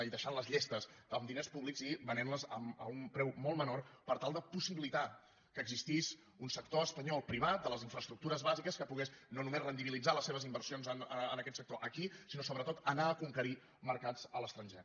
i deixant les llestes amb diners públics i venent les a un preu molt menor per tal de possibilitar que existís un sector espanyol privat de les infraestructures bàsiques que pogués no només rendibilitzar les seves inversions en aquest sector aquí sinó sobretot anar a conquerir mercats a l’estranger